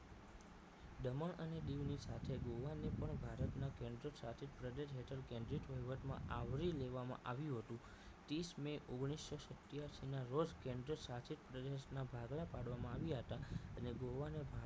દમણ અને દીવની સાથે ગોવાને પણ ભારતના કેન્દ્રશાસિત પ્રદેશ હેઠળ કેન્દ્રિત વહીવટમાં આવરી લેવામાં આવ્યું હતું ત્રીસ may ઓગણીસો સિત્યાશી નાં રોજ કેન્દ્રશાસિત પ્રદેશોના ભાગલા પાડવામાં આવ્યા હતા એટલે ગોવાને